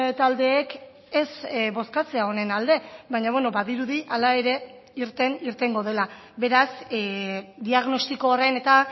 taldeek ez bozkatzea honen alde baina badirudi hala ere irten irtengo dela beraz diagnostiko horren eta